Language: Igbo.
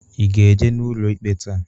I ga-eje n'ụlọ ikpe taa?